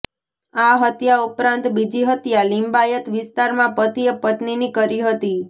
આ હત્યા ઉપરાંત બીજી હત્યા લીંબાયત વિસ્તારમાં પતિએ પત્નીની કરી હતી